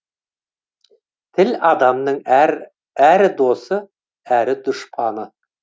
тіл адамның әрі досы әрі дұшпаны